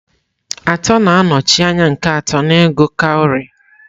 Atọ na-anọchi anya nke atọ n'ịgụ kawarị.